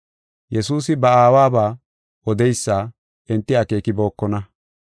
Yesuusi ba Aawaba odeysa enti akeekibokona.